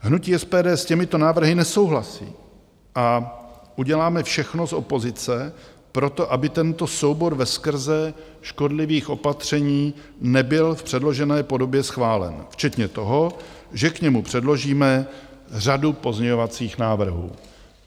Hnutí SPD s těmito návrhy nesouhlasí a uděláme všechno z opozice pro to, aby tento soubor veskrze škodlivých opatření nebyl v předložené podobě schválen, včetně toho, že k němu předložíme řadu pozměňovacích návrhů.